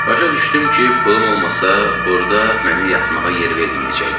Başa düşdüm ki, pulum olmasa burda mənə yatmağa yer verməyəcəklər.